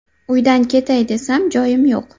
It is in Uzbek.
Uydan ketay desam, joyim yo‘q.